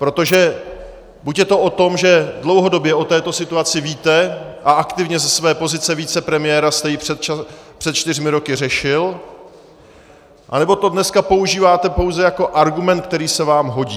Protože buď je to o tom, že dlouhodobě o této situaci víte a aktivně ze své pozice vicepremiéra jste ji před čtyřmi roky řešil, anebo to dneska používáte pouze jako argument, který se vám hodí.